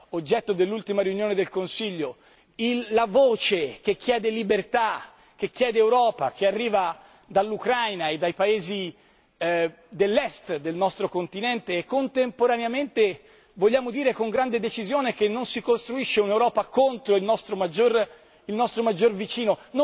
oggetto dell'ultima riunione del Consiglio la voce che chiede libertà, che chiede Europa, che arriva dall'Ucraina e dai paesi dell'Est del nostro continente e contemporaneamente vogliamo dire con grande decisione che non si costruisce un'Europa contro il nostro maggior vicino.